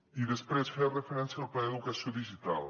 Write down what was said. i després feia referència al pla d’educació digital